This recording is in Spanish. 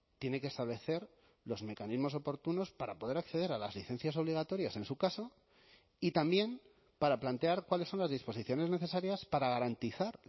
tiene que establecer los mecanismos oportunos para poder acceder a las licencias obligatorias en su caso y también para plantear cuáles son las disposiciones necesarias para garantizar